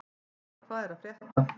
Karla, hvað er að frétta?